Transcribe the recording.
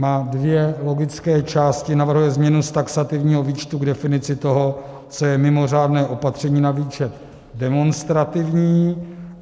Má dvě logické části, navrhuje změnu z taxativního výčtu k definici toho, co je mimořádné opatření, na výčet demonstrativní.